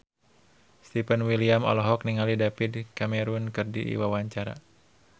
Stefan William olohok ningali David Cameron keur diwawancara